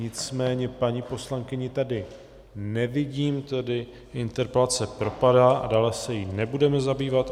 Nicméně paní poslankyni tady nevidím, tedy interpelace propadá a dále se jí nebudeme zabývat.